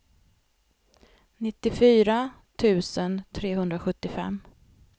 nittiofyra tusen trehundrasjuttiofem